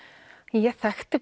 en ég þekkti